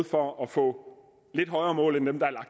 for at få lidt højere mål end dem